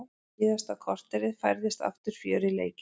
Síðasta korterið færðist aftur fjör í leikinn.